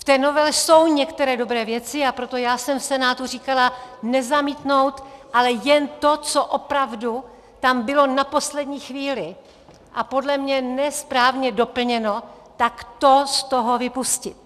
V té novele jsou některé dobré věci, a proto jsem v Senátu říkala nezamítnout, ale jen to, co opravdu tam bylo na poslední chvíli, a podle mě ne správně, doplněno, tak to z toho vypustit.